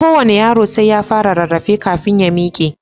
Kowane yaro sai ya fara rarrafe kafin ya miƙe.